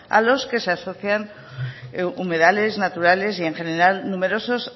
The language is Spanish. a los que se asocian humedales naturales y en general numerosos